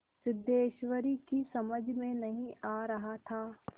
सिद्धेश्वरी की समझ में नहीं आ रहा था